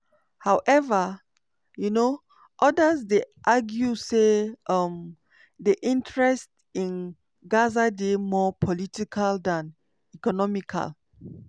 however um odas dey argue say um di interest in gaza dey more political dan economical.